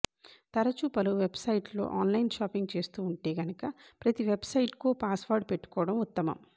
తరచూ పలు వెబ్సైట్లలో ఆన్లైన్ షాపింగ్ చేస్తూ ఉంటే గనక ప్రతీ వెబ్సైట్కో పాస్వర్డ్ పెట్టుకోవడం ఉత్తమం